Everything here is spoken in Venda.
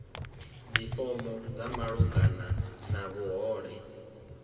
dzifomo dza malugana na vhuhole